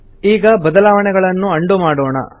ಈಗ ಬದಲಾವಣೆಗಳನ್ನು ಅಂಡು ಮಾಡೋಣ